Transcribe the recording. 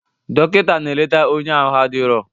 Dọkịta na-eleta onye ahụ adirọ.